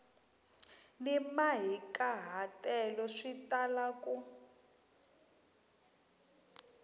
ni mahikahatelo swi tala ku